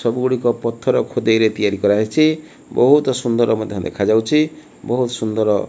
ସବୁ ଗୁଡ଼ିକ ପଥର ଖୋଦେଇ ରେ ତିଆରି କରାହେଇଛି ବହୁତ ସୁନ୍ଦର ମଧ୍ୟ ଦେଖାଯାଉଚି ବହୁତ ସୁନ୍ଦର।